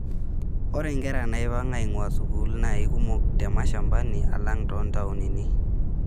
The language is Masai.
Ore nkera naipang' ainguaa sukuul naa keikumok te mashambani alang toontaonini.